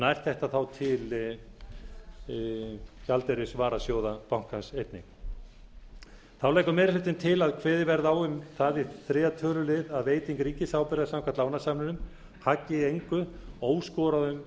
nær þetta þá til gjaldeyrisvarasjóða bankans einnig þá leggur meiri hlutinn til að kveðið verði á um það í þriðja tölulið að veiting ríkisábyrgðar samkvæmt lánasamningunum haggi í engu óskoruðum